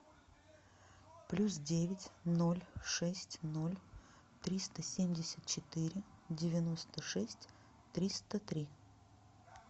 плюс девять ноль шесть ноль триста семьдесят четыре девяносто шесть триста три